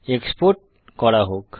export করা হোক